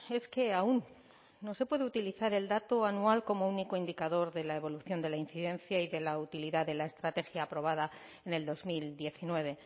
es que aún no se puede utilizar el dato anual como único indicador de la evolución de la incidencia y de la utilidad de la estrategia aprobada en el dos mil diecinueve